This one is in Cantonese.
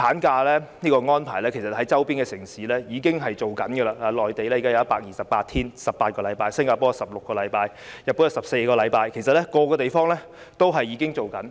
主席，周邊城市已經推行產假的安排，內地現時有18個星期產假、新加坡有16個星期、日本有14個星期，每個地方也已經推行。